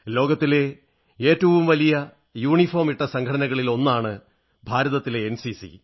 ലോകത്തിലെ യൂണിഫോമണിഞ്ഞ സംഘടനകളിൽ ഏറ്റവും വലിയ ഒന്നാണ് ഭാരതത്തിലെ എൻസിസി